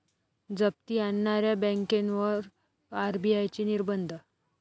जप्ती आणणाऱ्या बँकेवर आरबीआयचे निर्बंध